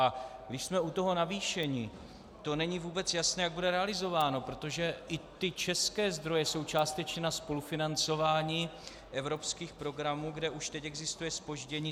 A když jsme u toho navýšení, to není vůbec jasné, jak bude realizováno, protože i ty české zdroje jsou částečně na spolufinancování evropských programů, kde už teď existuje zpoždění.